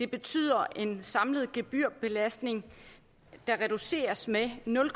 betyder en samlet gebyrbelastning der reduceres med nul